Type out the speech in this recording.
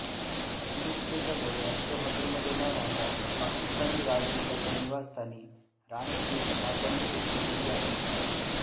अमेरिकच्या दौऱयात ते हॉटेलमध्ये न राहता पाकिस्तानी राजदुताच्या निवासस्थानी राहण्याची इच्छा त्यांनी व्यक्त केली आहे